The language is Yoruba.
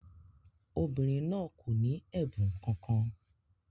Obìnrin náà kò ní ẹ̀bùn kankan.